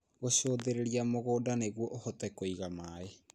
Gũcũthĩrĩria mũgũnda nĩguo ũhote kũiga maaĩ